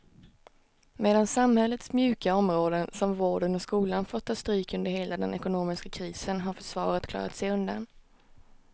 Medan samhällets mjuka områden som vården och skolan fått ta stryk under hela den ekonomiska krisen har försvaret klarat sig undan.